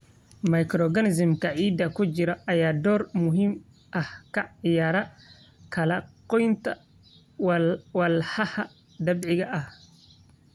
Microorganisms-ka ciidda ku jira ayaa door muhiim ah ka ciyaara kala-goynta walxaha dabiiciga ah.